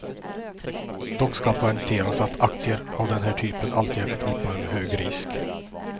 Dock ska poängteras att aktier av den här typen alltid är förknippade med hög risk.